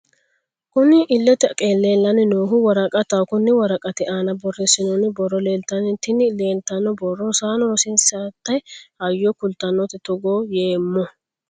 Kunni illete leelani noohu woraqataho konni woraqati aana borreesinonni borro leelitanno tinni leelitano borro Rosana rosiisate hayyo kulitanote Togo yeemo....